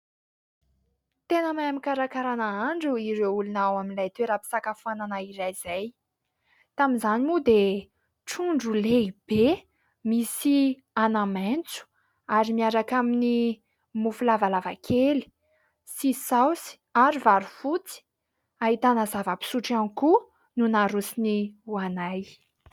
Tena mahay mikarakara nahandro ireo olona ao amin'ilay toeram-pisakafoanana iray izay. Tamin'izany moa dia trondro lehibe, misy anamaitso ary miaraka amin'ny mofo lavalava kely sy saosy ary vary fotsy, ahitana zava-pisotro ihany koa no narosony ho anay.